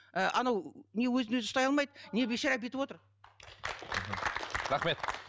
ыыы анау не өзін өзі ұстай алмайды не бейшара бүйтіп отыр мхм рахмет